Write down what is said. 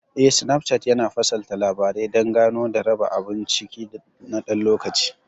Eh, Snapchart yana fasalta Labarai dan Gano da raba abun ciki na ɗan lokaci.